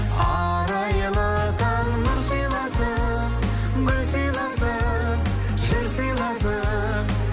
арайлы таң нұр сыйласын гүл сыйласын жыр сыйласын